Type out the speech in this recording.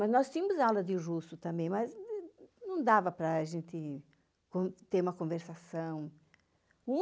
Mas nós tínhamos aula de russo também, mas não dava para gente ter uma conversação.